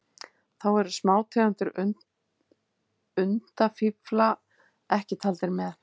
Þá eru smátegundir undafífla ekki taldar með.